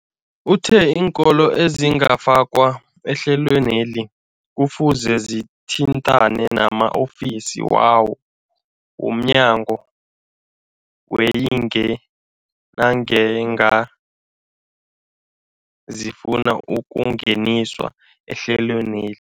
Uthe iinkolo ezingakafakwa ehlelweneli kufuze zithintane nama-ofisi wo mnyango weeyingi nangange zifuna ukungeniswa ehlelweni.